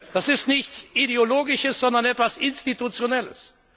Das ist nichts Ideologisches, sondern etwas Institutionelles.